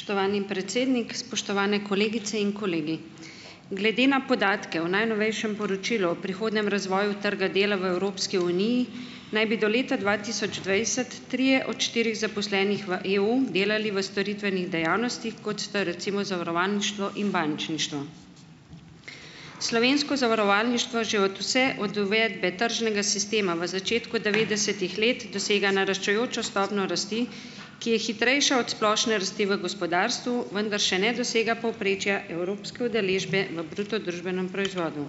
Spoštovani predsednik, spoštovane kolegice in kolegi! Glede na podatke o najnovejšem poročilu o prihodnjem razvoju trga dela v Evropski uniji naj bi do leta dva tisoč dvajset trije od štirih zaposlenih v EU delali v storitvenih dejavnostih, kot sta, recimo, zavarovalništvo in bančništvo. Slovensko zavarovalništvo že od vse od uvedbe tržnega sistema v začetku devetdesetih let dosega naraščajočo stopnjo rasti, ki je hitrejša od splošne rasti v gospodarstvu, vendar še ne dosega povprečja evropske udeležbe v bruto družbenem proizvodu.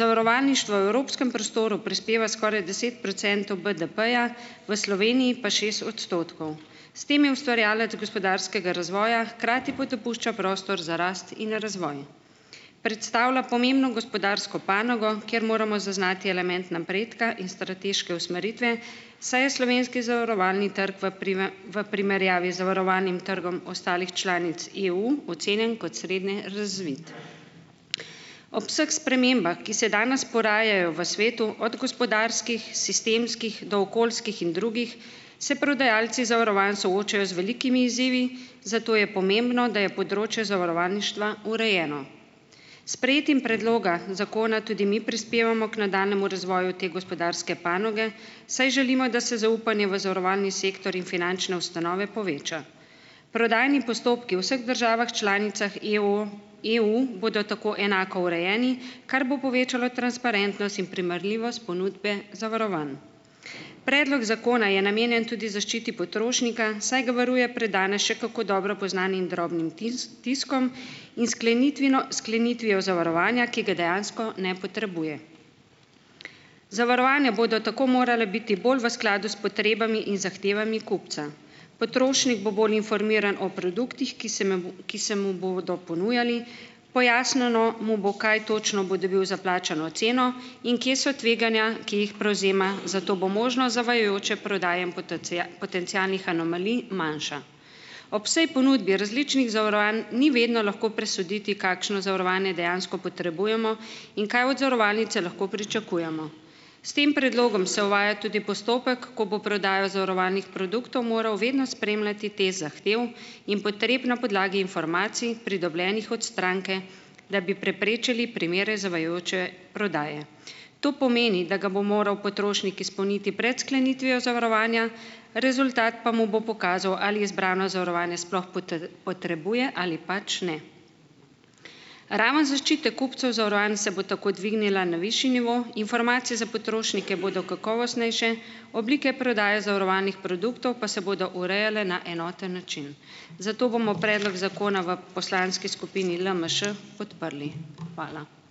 Zavarovalništvo v evropskem prostoru prispeva skoraj deset procentov BDP-ja, v Sloveniji pa šest odstotkov. S tem je ustvarjalec gospodarskega razvoja, hkrati pa dopušča prostor za rast in razvoj. Predstavlja pomembno gospodarsko panogo, kjer moramo zaznati element napredka in strateške usmeritve, saj je slovenski zavarovalni trg v v primerjavi zavarovalnim trgom ostalih članic EU ocenjen kot srednje razvit. Ob vseh spremembah, ki se danes porajajo v svetu - od gospodarskih, sistemskih, do okoljskih in drugih, se prodajalci zavarovanj soočajo z velikimi izzivi, zato je pomembno, da je področje zavarovalništva urejeno. Sprejetjem predloga zakona tudi mi prispevamo k nadaljnjemu razvoju te gospodarske panoge, saj želimo, da se zaupanje v zavarovalni sektor in finančne ustanove poveča. Prodajni postopki v vseh državah članicah EO, EU, bodo tako enako urejeni, kar bo povečalo transparentnost in primerljivost ponudbe zavarovanj. Predlog zakona je namenjen tudi zaščiti potrošnika, saj ga varuje pred danes še kako dobro poznanim drobnim tiskom in sklenitvino sklenitvijo zavarovanja, ki ga dejansko ne potrebuje. Zavarovanja bodo tako morala biti bolj v skladu s potrebami in zahtevami kupca. Potrošnik bo bolj informiran o produktih, ki se ki se mu bodo ponujali, pojasnjeno mu bo, kaj točno bo dobil za plačano ceno in kje so tveganja, ki jih prevzema, zato bo možno zavajajoče prodaje in potencialnih anomalij manjša. Ob vsaj ponudbi različnih zavarovanj ni vedno lahko presoditi, kakšno zavarovanje dejansko potrebujemo in kaj od zavarovalnice lahko pričakujemo. S tem predlogom se uvaja tudi postopek, ko bo prodajo zavarovalnih produktov moral vedno spremljati test zahtev in potreb na podlagi informacij, pridobljenih od stranke, da bi preprečili primere zavajajoče prodaje. To pomeni, da ga bo moral potrošnik izpolniti pred sklenitvijo zavarovanja, rezultat pa mu bo pokazal, ali izbrano zavarovanje sploh potrebuje ali pač ne. Raven zaščite kupcev zavarovanj se bo tako dvignila na višji nivo, informacije za potrošnike bodo kakovostnejše, oblike prodaje zavarovanih produktov pa se bodo urejale na enoten način. Zato bomo predlog zakona v poslanski skupini LMŠ, podprli. Hvala.